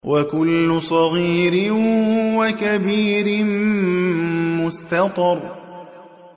وَكُلُّ صَغِيرٍ وَكَبِيرٍ مُّسْتَطَرٌ